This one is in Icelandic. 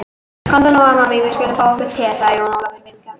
Komdu nú amma mín, við skulum fá okkur te, sagði Jón Ólafur vingjarnlega.